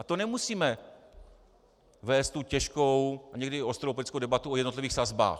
A to nemusíme vést tu těžkou a někdy ostrou politickou debatu o jednotlivých sazbách.